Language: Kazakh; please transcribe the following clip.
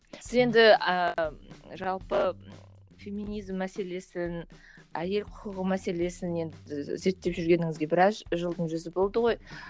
сіз енді ііі жалпы феминизм мәселесін әйел құқығы мәселесін енді зерттеп жүргеніңізге біраз жылдың жүзі болды ғой